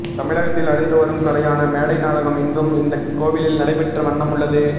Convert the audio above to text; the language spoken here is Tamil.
தமிழகத்தில் அழிந்து வரும் கலையான மேடை நாடகம் இன்றும் இந்த கோவிலில் நடைபெற்ற வண்ணம் உள்ளது